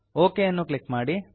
okay ಅನ್ನು click ಮಾಡಿ